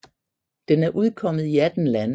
Den er udkommet i 18 lande